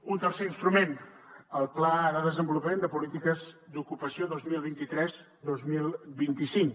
un tercer instrument el pla de desenvolupament de polítiques d’ocupació vint milions dos cents i trenta dos mil vint cinc